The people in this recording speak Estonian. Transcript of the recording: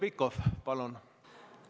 Heljo Pikhof, palun!